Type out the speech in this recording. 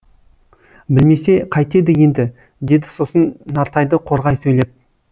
білмесе қайтеді енді деді сосын нартайды қорғай сөйлеп